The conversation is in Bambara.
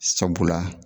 Sabula